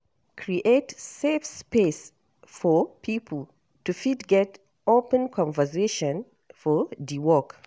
Create safe space for pipo to fit get open conversation for di work